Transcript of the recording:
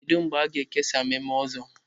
Kedu mgbe a ga-ekesa memo ọzọ?